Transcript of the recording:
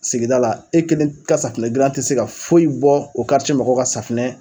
Sigida la e kelen ka safunɛdilan te se ka foyi bɔ o mɔgɔw ka safunɛ